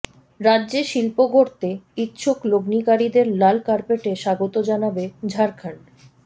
রাজ্যে শিল্প গড়তে ইচ্ছুক লগ্নিকারীদের লাল কার্পেটে স্বাগত জানাবে ঝাড়খণ্ড